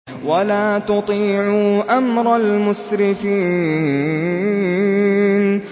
وَلَا تُطِيعُوا أَمْرَ الْمُسْرِفِينَ